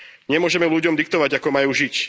Nemôžeme ľuďom diktovať, ako majú žiť.